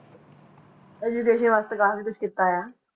Education ਵਾਸਤੇ ਕਾਫ਼ੀ ਕੁਛ ਕੀਤਾ ਹੋਇਆ।